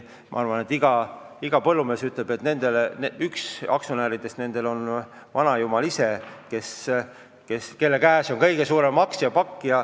Küllap iga põllumees ütleb, et üks aktsionäridest on vanajumal ise ja tema käes on kõige suurem aktsiapakk.